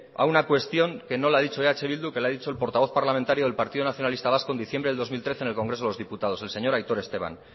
a una cuestión que no la ha dicho eh bildu que lo ha dicho el portavoz parlamentario del partido nacionalista vasco en diciembre de dos mil trece en el congreso de los diputados el señor aitor esteban